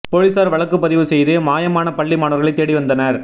போலீசார் வழக்கு பதிவு செய்து மாயமான பள்ளி மாணவர்களை தேடி வந்தனர்